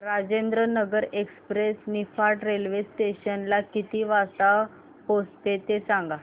Rajendranagar express Niphad railway station ला किती वाजता पोहचते ते सांग